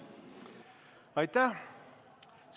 Aitäh!